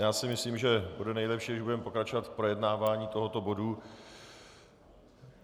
Já si myslím, že bude nejlepší, když budeme pokračovat v projednávání tohoto bodu.